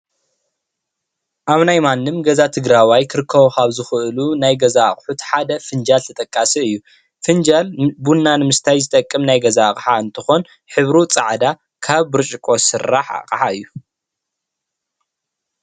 ኣብ ናይ ማንም ገዛ ትግረዋይ ክርከቡ ካብ ዝኽእሉ ናይ ገዛ ኣቑሑት ሓደ ፍንጃል ተጠቃሲ እዩ፣ ፍንጃል ቡና ንምስታይ ዝጠቅም ናይ ገዛ ኣቕሓ እንትኾን ሕብሩ ፃዕዳ ካብ ብርጭቆ ዝስራሕ ኣቕሓ እዩ፡፡